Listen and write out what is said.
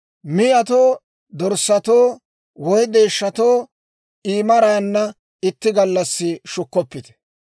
Miyatoo, dorssatoo, woy deeshshatoo I maraanna itti gallassi shukkoppite.